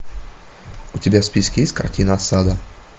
у тебя в списке есть картина осада